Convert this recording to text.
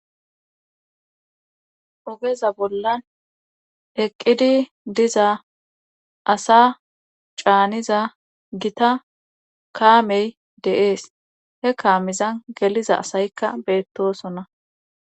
Ogeza bollan heqqidi diza asa caaniza gita kaamey deees he kaamiza geliza asayikka beettosonna